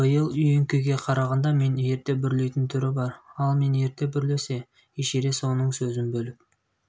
биыл үйеңкіге қарағанда мен ерте бүрлейтін түрі бар ал мен ерте бүрлесе эшерест оның сөзін бөліп